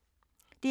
DR P2